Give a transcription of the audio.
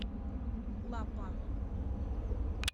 лаппа